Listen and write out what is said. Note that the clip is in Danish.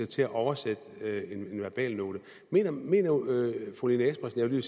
til at oversætte en verbalnote mener mener fru lene espersen jeg